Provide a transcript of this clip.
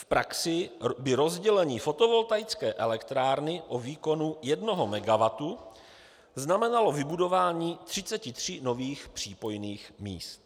"V praxi by rozdělení fotovoltaické elektrárny o výkonu 1 MW znamenalo vybudování 33 nových přípojných míst.